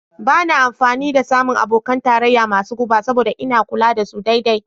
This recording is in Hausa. Ba na amfani da samun abokan tarayya masu guba saboda ina kula da su daidai.